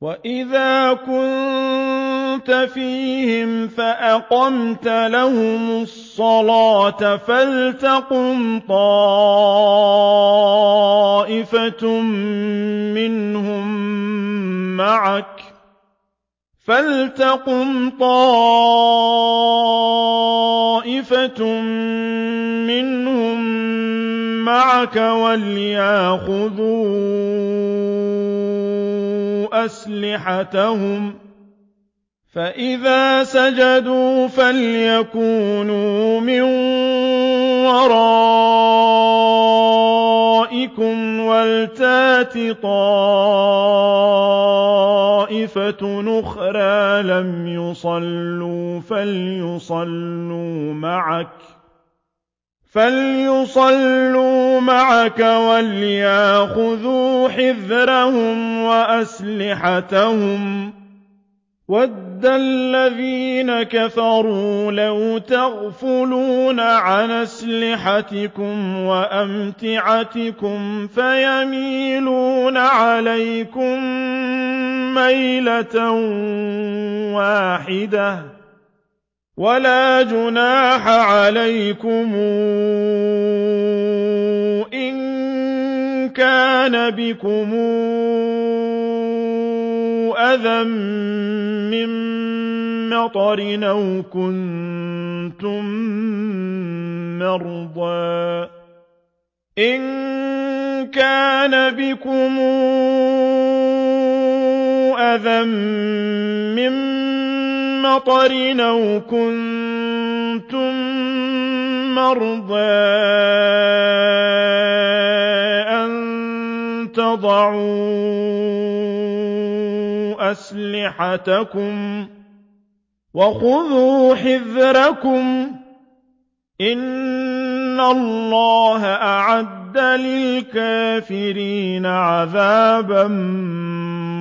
وَإِذَا كُنتَ فِيهِمْ فَأَقَمْتَ لَهُمُ الصَّلَاةَ فَلْتَقُمْ طَائِفَةٌ مِّنْهُم مَّعَكَ وَلْيَأْخُذُوا أَسْلِحَتَهُمْ فَإِذَا سَجَدُوا فَلْيَكُونُوا مِن وَرَائِكُمْ وَلْتَأْتِ طَائِفَةٌ أُخْرَىٰ لَمْ يُصَلُّوا فَلْيُصَلُّوا مَعَكَ وَلْيَأْخُذُوا حِذْرَهُمْ وَأَسْلِحَتَهُمْ ۗ وَدَّ الَّذِينَ كَفَرُوا لَوْ تَغْفُلُونَ عَنْ أَسْلِحَتِكُمْ وَأَمْتِعَتِكُمْ فَيَمِيلُونَ عَلَيْكُم مَّيْلَةً وَاحِدَةً ۚ وَلَا جُنَاحَ عَلَيْكُمْ إِن كَانَ بِكُمْ أَذًى مِّن مَّطَرٍ أَوْ كُنتُم مَّرْضَىٰ أَن تَضَعُوا أَسْلِحَتَكُمْ ۖ وَخُذُوا حِذْرَكُمْ ۗ إِنَّ اللَّهَ أَعَدَّ لِلْكَافِرِينَ عَذَابًا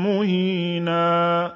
مُّهِينًا